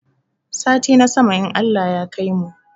Sati na sama in Allah ya kaimu